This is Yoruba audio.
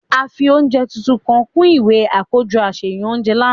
A fi ounjẹ titun kan kun iwe akojọ aṣayan ounjẹ làná.